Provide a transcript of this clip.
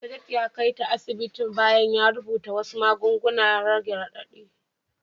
Mista Jade ya kai ta asibiti bayan ya rubuta wasu magungunan rage radadi.